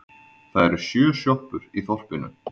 Það eru sjö sjoppur í þorpinu!